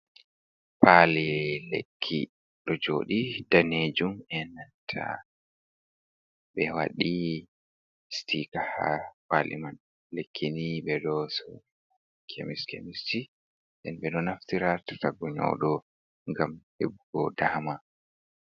Pali lekki ɗo joɗi danejum, en nanta be wadi stika ha pali man, lekki ni ɓe ɗo suradi ha kemis kemist ji, ɓe ɗo naftira ha to guɗɗo nyauɗo gam heɓugo dama.